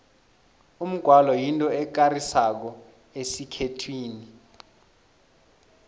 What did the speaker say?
umgwalo yinto ekarisako esikhethwini